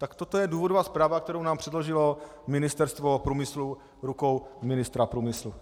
Tak toto je důvodová zpráva, kterou nám předložilo Ministerstvo průmyslu rukou ministra průmyslu.